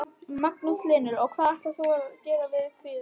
Magnús Hlynur: Og hvað ætlar þú að gera við kvíguna?